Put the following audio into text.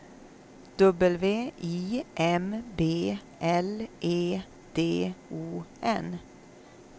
W I M B L E D O N